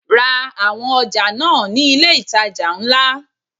Ra àwọn ọjà náà ní ilé itàjà ńlá.